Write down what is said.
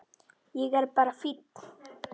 Ég er bara fínn!